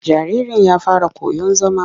Jaririn ya fara koyon zama.